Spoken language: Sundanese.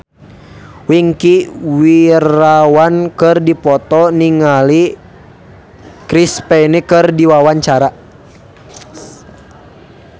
Wingky Wiryawan olohok ningali Chris Pane keur diwawancara